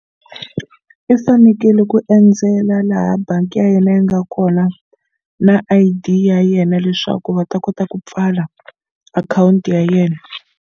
I fanekele ku endzela laha bangi ya yena yi nga kona na I_D ya yena leswaku va ta kota ku pfala akhawunti ya yena.